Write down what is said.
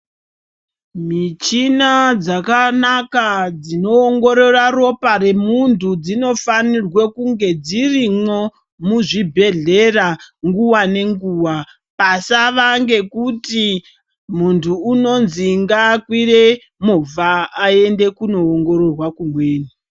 Michina dzakawanda dzinoongorora Ropa remuntu dzinofanira kunge dzirimo muzvibhedhlera nguwa ngenguwa asava ngekuti muntu unonzi ngakwire movha aende kundoongororwa kumweni.